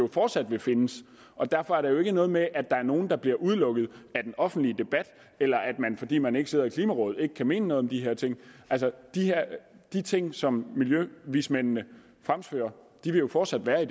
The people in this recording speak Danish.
fortsat vil findes og derfor er det jo ikke noget med at er nogle der bliver udelukket af den offentlige debat eller at man fordi man ikke sidder i klimarådet ikke kan mene noget om de her ting altså de ting som miljøvismændene fremfører vil jo fortsat være